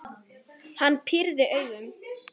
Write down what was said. Hann pírði augun.